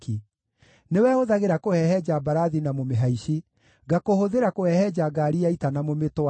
Nĩwe hũthagĩra kũhehenja mbarathi na mũmĩhaici, ngakũhũthĩra kũhehenja ngaari ya ita na mũmĩtwari,